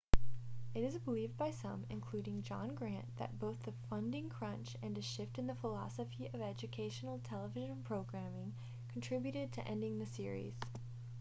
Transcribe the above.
it is believed by some including john grant that both the funding crunch and a shift in the philosophy of educational television programming contributed to ending the series